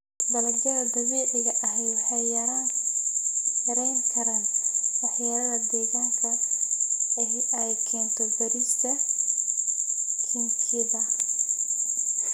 Dalagyada dabiiciga ahi waxay yarayn karaan waxyeelada deegaanka ee ay keento beerista kiimikada.